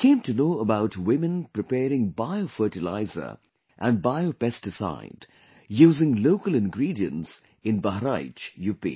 I came to know about women preparing bio fertilizer and bio pesticide using local ingredients in Bahraich, UP